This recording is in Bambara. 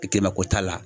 Kɛmɛ ko t'a la